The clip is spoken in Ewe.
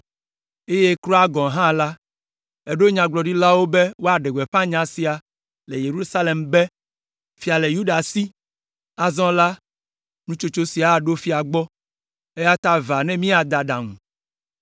eye kura gɔ̃ hã la, èɖo Nyagblɔɖilawo be woaɖe gbeƒã nya sia le Yerusalem be, ‘Fia le Yuda si!’ Azɔ la, nutsotso sia aɖo fia gbɔ, eya ta va, ne miade aɖaŋu.”